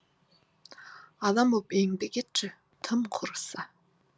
адам боп еңбек етші тым құрыса